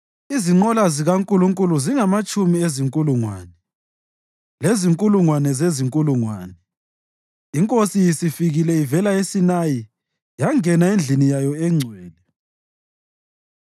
Izinqola zikaNkulunkulu zingamatshumi ezinkulungwane; lezinkulungwane zezinkulungwane; iNkosi isifikile ivela eSinayi yangena endlini yayo engcwele.